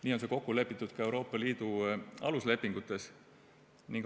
Nii on see kokku lepitud ka Euroopa Liidu aluslepingutes.